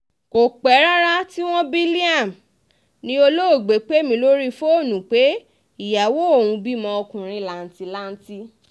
kò pẹ́ rárá tí wọ́n bí liam ni olóògbé pè mí lórí fóònù pé ìyàwó òun ti bímọ ọkùnrin làǹtì-lanti